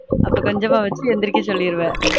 அப்பொ கொஞ்சமா வச்சு வந்துருக்கு சொல்லிருவ